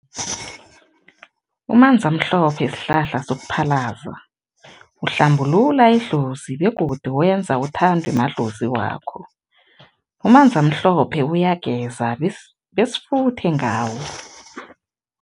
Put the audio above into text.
Umanzamhlophe sihlahla sokuphalaza, uhlambulula idlozi begodu wenza uthandwe madlozi wakho. Umanzamhlophe uyageza besifuthe ngawo.